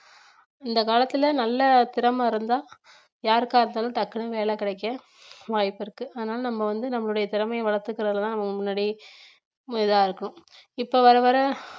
இந்த காலத்துல நல்ல திறமை இருந்தா யாருக்கா இருந்தாலும் டக்குனு வேலை கிடைக்க வாய்ப்பிருக்கு அதனால நம்ம வந்து நம்மளுடைய திறமைய வளர்த்துக்கிறதுல தான் நம்ம முன்னாடி ரொம்ப இதா இருக்கும் இப்ப வர வர